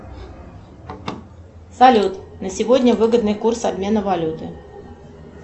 салют на сегодня выгодный курс обмена валюты